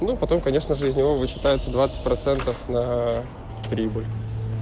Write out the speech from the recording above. ну потом конечно же из него вычитается двадцать процентов на прибыль